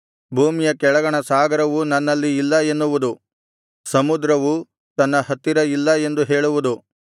ಭೂಮಿಯ ಕೆಳಗಣ ಸಾಗರವು ನನ್ನಲ್ಲಿ ಇಲ್ಲ ಎನ್ನುವುದು ಸಮುದ್ರವು ತನ್ನ ಹತ್ತಿರ ಇಲ್ಲ ಎಂದು ಹೇಳುವುದು